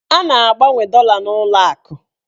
A na-agbanwe dọla n'ụlọakụ